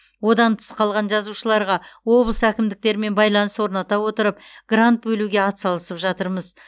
одан тыс қалған жазушыларға облыс әкімдіктерімен байланыс орната отырып грант бөлуге ат салысып жатырмыз